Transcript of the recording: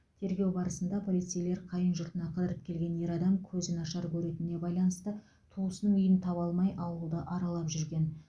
тергеу барысында полицейлер қайын жұртына қыдырып келген ер адам көзі нашар көретініне байланысты туысының үйін таба алмай ауылды аралап жүрген